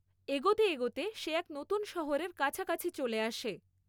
এগোতে এগোতে সে এক নতুন শহরের কাছাকাছি চলে আসে।